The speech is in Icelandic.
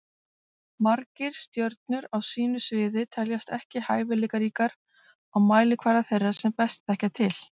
Margir stjörnur á sínu sviði teljast ekki hæfileikaríkar á mælikvarða þeirra sem best þekkja til.